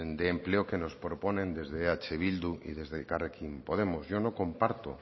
de empleo que nos proponen desde eh bildu y desde elkarrekin podemos yo no comparto